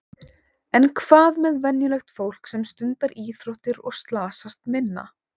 En hvað með venjulegt fólk sem stundar íþróttir og slasast minna?